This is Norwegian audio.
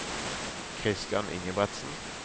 Christian Ingebretsen